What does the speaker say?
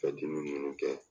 Ka ninnu kɛ